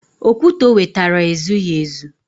Okwute o wetara ezughị ezu